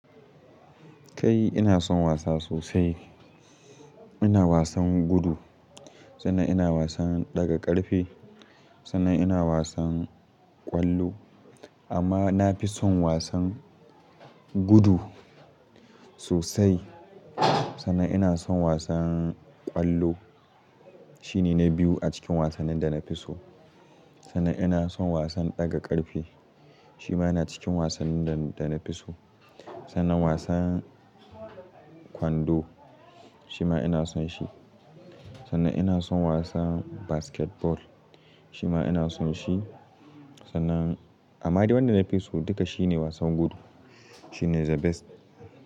Kai ina son wasa sosai. Ina wasan gudu, sannan ina wasan ɗaga ƙarfe, sannan ina wasan ƙwallo. Amma na fi son wasan gudu sosai, sannan ina son wasan kwallo. Shi ne na biyu a cikin wasannin da na fi so. Sannan ina son wasan ɗaga ƙarfe, shi ma yana cikin wasannin da, da na fi so. Sannan wasan kwando shi ma ina son shi. Sannan ina son wasan basketball shi ma ina son shi. Sannan amma dai wanda na fi so duka shi ne wasan gudu. Shi ne the best.